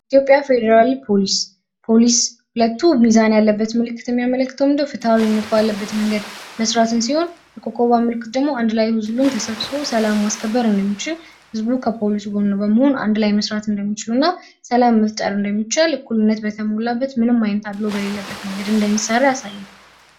የኢትዮጵያ ፌደራል ፖሊስ፦ ፖሊስ ኮቱ ሚዛን ያለበት ምልክት ምን ነው የሚያመለክት ማለት ነው ፍትሃዊ ባለበት መንገድ መስራትን ሲሆን የኮከቧ ምልክት ደግሞ አንድላይ ተሰብስቦ ሰላም ማስከበርን የሚሹ ህዝቡ ከፖሊሱ ጎን በመሆን አንድ ላይ መስራት እንደሚችል እና ሰላም መፍጠር እንደሚችል ጉልበት በተሞላበት ምንም አይነት አድሎ በሌለበት መንገድ እንደሚሰራ ያሳያል።